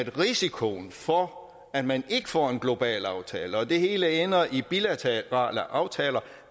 risikoen for at man ikke får en global aftale og det hele ender i bilaterale aftaler